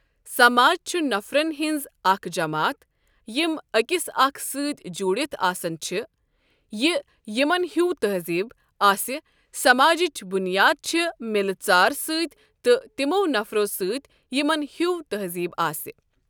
سَماج چھُ نَفرن ہٕنٛز اَکھ جَماتھ یِم أکِس اَکھ سٟتؠ جوڈِتھ آسَن چھ یہٕ یِمَن ہیو تَہزیٖب، آسہِ سَماجٕچ بُنیاد چھ مِلہٕ ژار سٟتؠ تہٕ تِمو نَفرو سٟتؠ یِمَن ہیو تَہزیٖب آسہِ.